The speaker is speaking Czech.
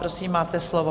Prosím, máte slovo.